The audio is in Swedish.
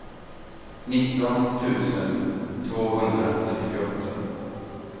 nitton tusen tvåhundrasextioåtta